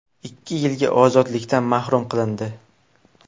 ikki yilga ozodlikdan mahrum qilindi.